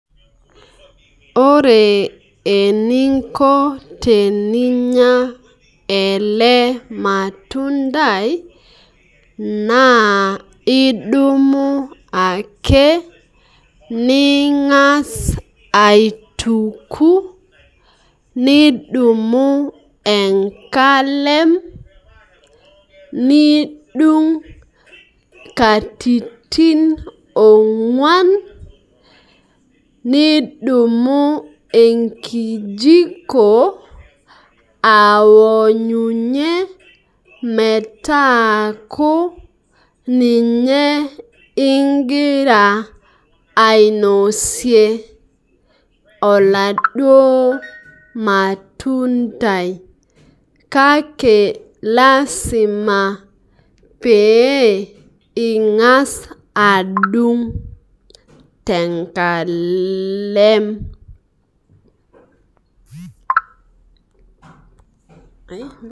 Ore eninko teninya ele matundai naa idumu ake ningas aituku ,nidumu enkalem , nidung katitin ongwan , nidumu enkijiko aonyunyie metaaku ninye ingira ainosie oladuo matundai kake lasima pee ingas adung tenkalem.